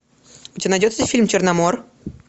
у тебя найдется фильм черномор